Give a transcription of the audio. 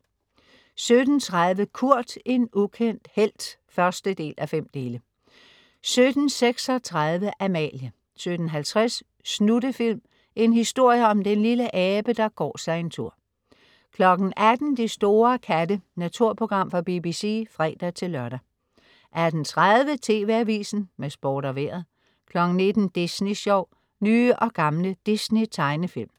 17.30 Kurt, en ukendt helt 1:5 17.36 Amalie 17.50 Snuttefilm. En historie om den lille abe, der går sig en tur 18.00 De store katte. Naturprogram fra BBC (fre-lør) 18.30 TV AVISEN med Sport og Vejret 19.00 Disney Sjov. Nye og gamle Disney-tegnefilm